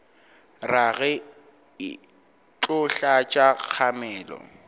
rage e tlo tlatša kgamelo